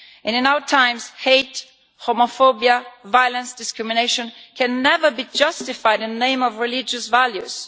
In our times, hate, homophobia, violence, discrimination, can never be justified in the name of religious values.